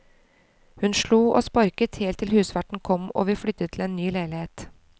Hun slo og sparket helt til husverten kom og vi flyttet til en ny leilighet.